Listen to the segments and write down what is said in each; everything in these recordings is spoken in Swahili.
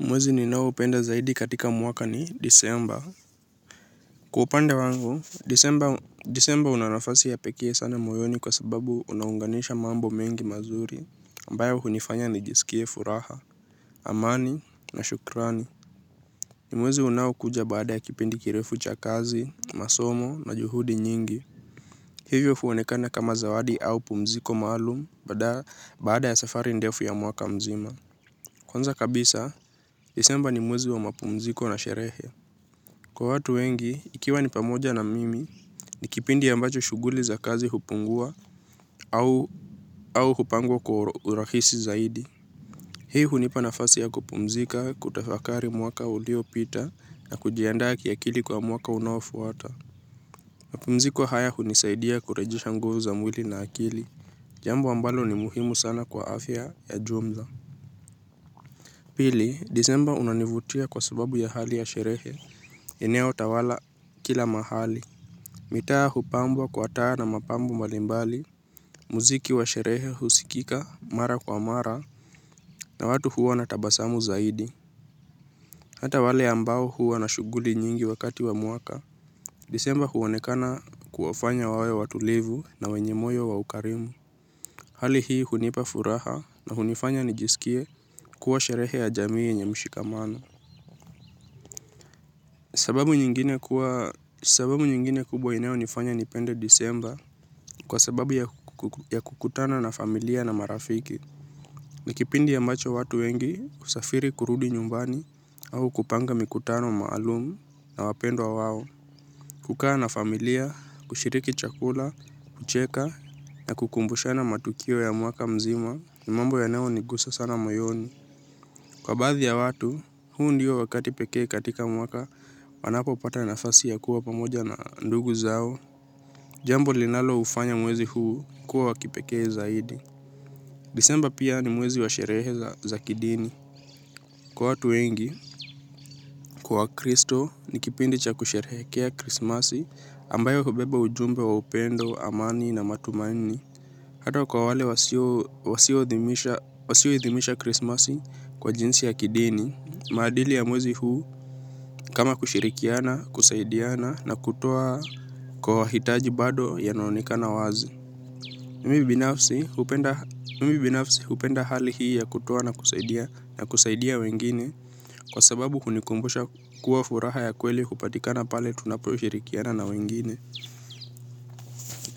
Mwezi ninao upenda zaidi katika mwaka ni disemba. Kwa upande wangu, disemba unanafasi ya pekee sana moyoni kwa sababu unaunganisha mambo mengi mazuri, ambayo hunifanya nijisikie furaha. Amani na shukrani. Ni mwezi unaokuja baada ya kipindi kirefu cha kazi, masomo na juhudi nyingi. Hivyo huonekana kama zawadi au pumziko maalum, baada ya safari ndefu ya mwaka mzima. Kwanza kabisa, disemba ni mwezi wa mapumziko na sherehe. Kwa watu wengi, ikiwa ni pamoja na mimi, ni kipindi ambacho shuguli za kazi hupungua au hupangwa kwa urahisi zaidi. Hii hunipa nafasi ya kupumzika kutafakari mwaka ulio pita na kujiandaa kiakili kwa mwaka unaofuata. Mapumziko haya hunisaidia kurejisha nguvu za mwili na akili. Jambo ambalo ni muhimu sana kwa afya ya jumla. Pili, disemba unanivutia kwa sababu ya hali ya sherehe. Eneo tawala kila mahali. Mitaa hupambwa kwa taa na mapambo mbalimbali, muziki wa sherehe husikika mara kwa mara na watu huwa na tabasamu zaidi. Hata wale ambao huwa na shuguli nyingi wakati wa mwaka, disemba huonekana kuwafanya wawe watulivu na wenye moyo wa ukarimu. Hali hii hunipa furaha na hunifanya nijisikie kuwa sherehe ya jamii yenye mshikamano. Sababu nyingine kubwa inao nifanya nipende disemba kwa sababu ya kukutana na familia na marafiki. Ni kipindi ambacho watu wengi husafiri kurudi nyumbani au kupanga mikutano maalumu na wapendwa wao. Kukaa na familia, kushiriki chakula, kucheka na kukumbushana matukio ya mwaka mzima ni mambo yanayo nigusa sana moyoni. Kwa baadhi ya watu, huu ndiyo wakati pekee katika mwaka, wanapo pata nafasi ya kuwa pamoja na ndugu zao. Jambo linalo ufanya mwezi huu kuwa wa kipekee zaidi. Disemba pia ni mwezi wa sherehe za kidini. Kwa watu wengi, kwa wakristo, ni kipindi cha kusherehekea krismasi ambayo hubeba ujumbe wa upendo, amani na matumaini. Hato kwa wale wasio idhimisha krismasi kwa jinsi ya kidini, maadili ya mwezi huu kama kushirikiana, kusaidiana na kutoa kwa hitaji bado yana onekana wazi. Mimi binafsi hupenda hali hii ya kutoa na kusaidia na kusaidia wengine kwa sababu hunikumbusha kuwa furaha ya kweli hupatikana pale tunaposhirikiana na wengine.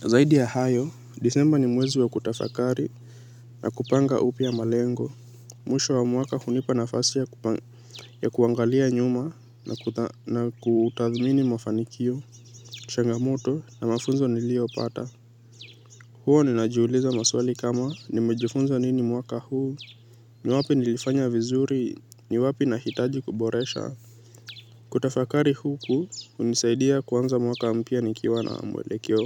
Zaidi ya hayo, disemba ni mwezi wa kutafakari na kupanga upya malengo. Mwisho wa mwaka hunipa nafasi ya kuangalia nyuma na kutathmini mafanikio, changamoto na mafunzo nilio pata. Huwa ninajiuliza maswali kama nimejifunza nini mwaka huu, ni wapi nilifanya vizuri, ni wapi nahitaji kuboresha. Kutafakari huku hunisaidia kuanza mwaka mpya nikiwa na mwelekeo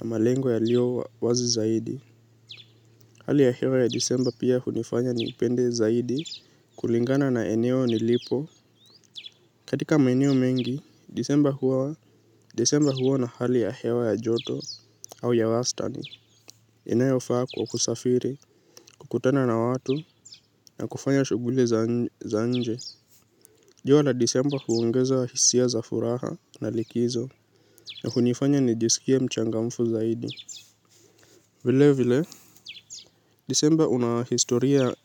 na malengo yalio wazi zaidi. Hali ya hewa ya disemba pia hunifanya nipende zaidi kulingana na eneo nilipo. Katika maeneo mengi, disemba huwa na hali ya hewa ya joto au ya wastani. Inayo faa kwa kusafiri, kukutana na watu na kufanya shuguli za nje. Jua la disemba huongeza hisia za furaha na likizo na hunifanya nijisikie mchangamfu zaidi. Vile vile, disemba unahistoria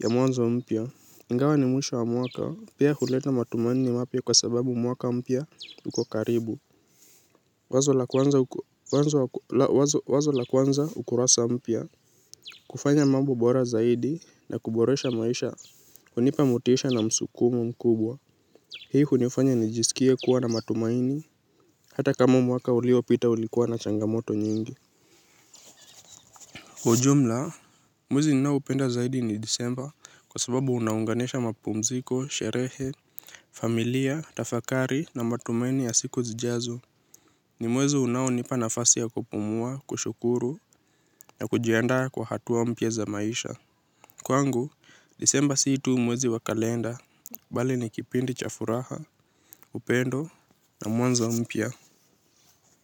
ya mwanzo mpya. Ingawa ni mwisho wa mwaka, pia huleta matumaini mapya kwa sababu mwaka mpya uko karibu. Wazo la kuanza ukurasa mpya, kufanya mambo bora zaidi na kuboresha maisha, hunipa motisha na msukumo mkubwa. Hii hunifanya nijisikie kuwa na matumaini, hata kama mwaka uliopita ulikuwa na changamoto nyingi ujumla. Mwezi ninao upenda zaidi ni disemba kwa sababu unaunganisha mapumziko, sherehe, familia, tafakari na matumaini ya siku zijazo. Ni mwezi unao nipa nafasi ya kupumua, kushukuru, na kujianda kwa hatuwa mpya za maisha. Kwangu, disemba sii tu mwezi wa kalenda, bali ni kipindi cha furaha, upendo, na mwanzo mpya.